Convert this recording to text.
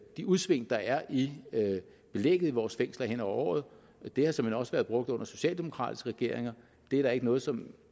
de udsving der er i belægget i vores fængsler hen over året det har såmænd også været brugt under socialdemokratiske regeringer og det er der ikke noget som